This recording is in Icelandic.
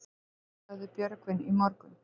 Sagði Björgvin í morgun.